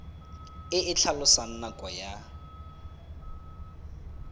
e e tlhalosang nako ya